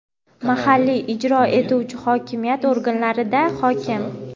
mahalliy ijro etuvchi hokimiyat organlarida – hokim;.